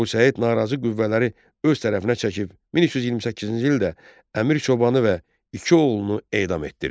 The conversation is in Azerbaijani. Əbu Səid narazı qüvvələri öz tərəfinə çəkib 1328-ci ildə Əmir Çobanı və iki oğlunu edam etdirdi.